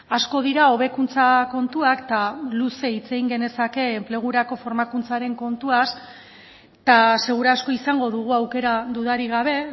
asko dira hobekuntza kontuak eta luze hitz egin genezake enplegurako formakuntzaren kontuaz eta seguru asko izango dugu aukera dudarik gabe